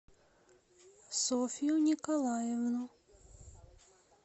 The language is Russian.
софью николаевну